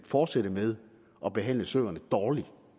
fortsætte med at behandle søerne dårligt